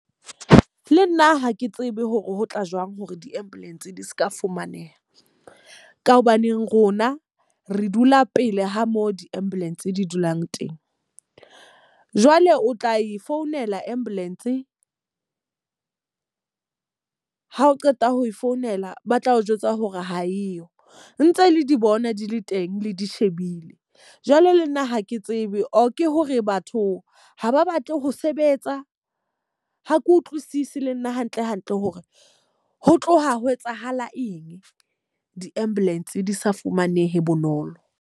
Le nna ha ke tsebe hore ho tla jwang hore di-ambulance di seka fumaneha. Ka hobaneng rona re dula pele ho mo di-ambulance di dulang teng. Jwale o tla e founela ambulance ha o qeta ho e founela, ba tla o jwetsa hore ha eyo. Ntse le di bona di le teng, le di shebile. Jwale le nna ha ke tsebe or ke hore batho ha ba batle ho sebetsa, ha ke utlwisisi le nna hantle hantle hore ho tloha ho etsahala eng di-ambulance di sa fumanehe bonolo.